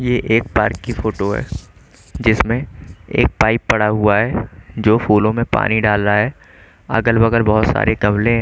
ये एक पार्क की फोटो है जिसमें एक पाइप पड़ा हुआ है जो फूलों में पानी डाल रहा है अगल बगल बहुत सारे गमले हैं।